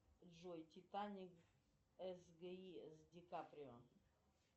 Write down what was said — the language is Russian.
джой титаник сги с ди каприо